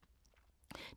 DR2